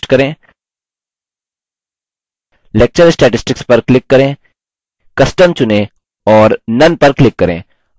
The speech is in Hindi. lecture statistics पर click करें custom चुनें और none पर click करें icon input में बदल जाता है